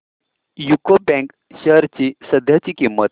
UCO bank shares ची सध्याची किंमत